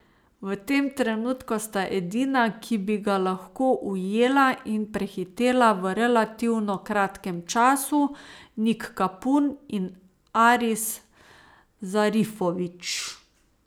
V tem trenutku sta edina, ki bi ga lahko ujela in prehitela v relativno kratkem času, Nik Kapun in Aris Zarifović.